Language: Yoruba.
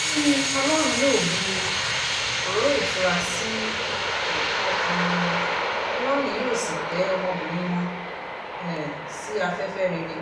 ó ní ọlọ́run yóò bu òróró ìtura sí um ọkàn wọn ọlọ́run yóò sì tẹ ọmọbìnrin wọn um sí afẹ́fẹ́ rere